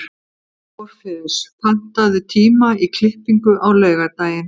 Orfeus, pantaðu tíma í klippingu á laugardaginn.